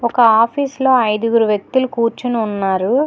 ఒక ఆఫీసులో ఐదుగురు వ్యక్తులు కూర్చుని ఉన్నారు.